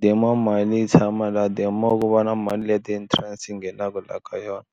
the more mali yi tshama laha the more ku va na mali leya interest yi nghenaka laha ka yona.